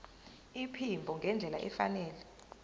iphimbo ngendlela efanele